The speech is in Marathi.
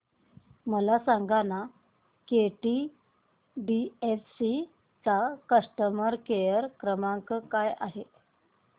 मला सांगाना केटीडीएफसी चा कस्टमर केअर क्रमांक काय आहे